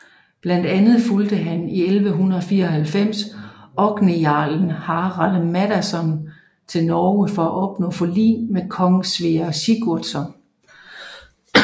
Blandt andet fulgde han i 1194 orkneyjarlen Harald Maddadsson til Norge for at opnå forlig med kong Sverre Sigurdsson